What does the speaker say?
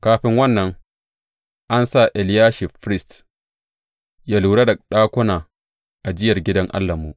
Kafin wannan, an sa Eliyashib firist yă lura da ɗakuna ajiyar gidan Allahnmu.